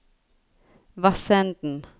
Vassenden